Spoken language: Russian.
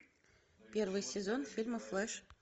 первый сезон фильма флэш